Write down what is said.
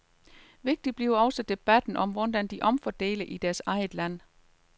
Vigtig bliver også debatten om, hvordan de omfordeler i deres eget land.